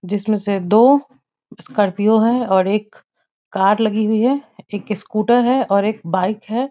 जिस में से दो स्कार्पियो है और एक कार लगी हुई है एक स्कूटर है और एक बाइक है।